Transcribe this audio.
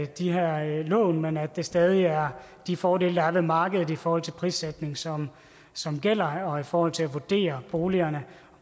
de her lån men at det stadig er de fordele der er ved markedet i forhold til prissætning som som gælder og i forhold til at vurdere boligerne